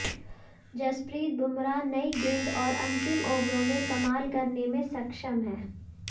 जसप्रीत बुमराह नई गेंद और अंतिम ओवरों में कमाल करने में सक्षम हैं